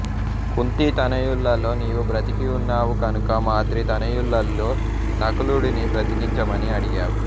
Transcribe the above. కుంతీ తనయులలో నీవు బ్రతికి ఉన్నావు కనుక మాద్రీ తనయులలో నకులుడిని బ్రతికించమని అడిగావు